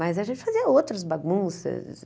Mas a gente fazia outras bagunças.